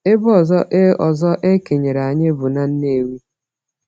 Ebe ọzọ e ọzọ e kenyere anyị bụ na Nnewi.